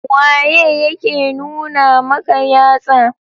Waye yake nuna maka yatsa.